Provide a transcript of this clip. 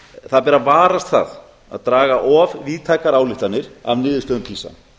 það ber að varast það að draga of víðtækar ályktanir af niðurstöðum pisa